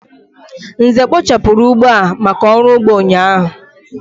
Nze kpochapuru ugbo a maka oru ugbo ụnyaahụ.